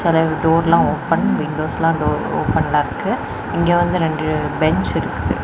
நரைய டோரெல்லா ஓபன் வின்டோஸ்லா டோர் ஓபன்லெ இருக்கு இங்கெ வந்து ரெண்டு பென்ச் இருக்கு.